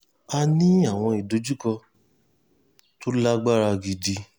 a ní àwọn ìdojúkọ tó lágbára gidi